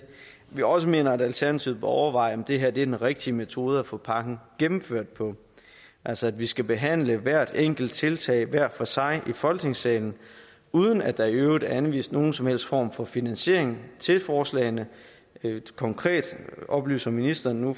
vi også mener at alternativet bør overveje om det her er den rigtige metode at få pakken gennemført på altså at vi skal behandle hvert enkelt tiltag hver for sig i folketingssalen uden at der i øvrigt er anvist nogen som helst form for finansiering til forslagene konkret oplyser ministeren nu